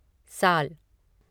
साल